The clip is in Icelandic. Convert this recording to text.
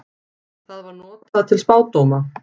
Það var notað til spádóma.